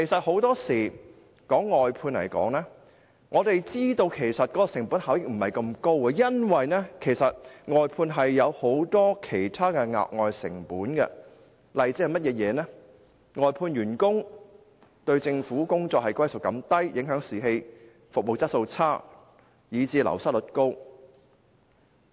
很多時候，我們知道外判的成本效益其實並非那麼高，因為外判有很多其他額外成本，例如外判員工對政府工作歸屬感較低，影響士氣，服務質素變差，以致流失率高。